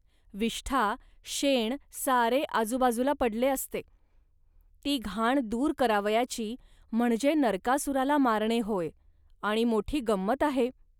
विष्ठा, शेण सारे आजूबाजूला पडले असते. ही घाण दूर करावयाची, म्हणजे नरकासुराला मारणे होय आणि मोठी गंमत आहे